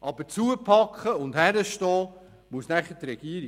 Aber zupacken und hinstehen muss nachher die Regierung.